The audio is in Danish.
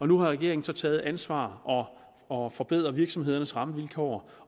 nu har regeringen taget ansvar og forbedret virksomhedernes rammevilkår